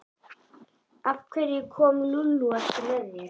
Af hverju kom Lúlli ekki með þér?